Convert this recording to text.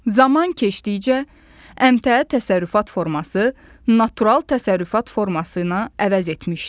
Zaman keçdikcə əmtəə təsərrüfat forması natural təsərrüfat forması ilə əvəz etmişdi.